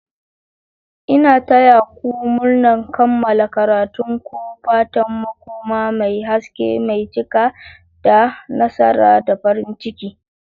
Ina taya ku murnar kammala karatun ku! Fatan makoma mai haske mai cike da nasara da farin ciki.